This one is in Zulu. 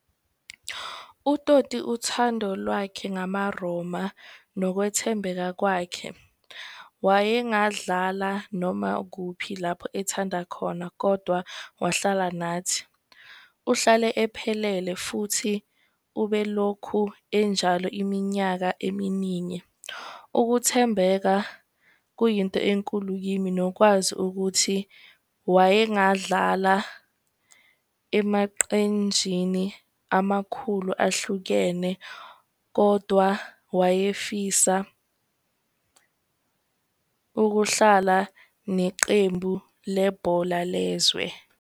UToti, uthandolwakhe ngamaRoma, nokwethembeka kwakhe, wayengadlala noma kuphi lapho ethanda khona, kodwa wahlala nathi. Uhlale ephelele futhi ubelokhu enjalo iminyaka eminingi. Ukuthembeka kuyinto enkulu kimi, nokwazi ukuthi wayengadlala emaqenjini amakhulu ahlukene, kodwa wayefisa ukuhlala neqembu lebhola lezwe.